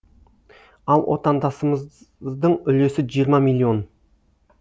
ал отандасамыздың үлесі жиырма миллион